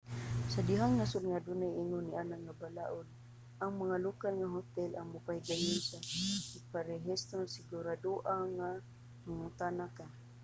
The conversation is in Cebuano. sa daghang nasod nga adunay ingon niana nga balaud ang mga lokal nga hotel ang mopahigayon sa pagparehistro sigurado-a nga mangutana ka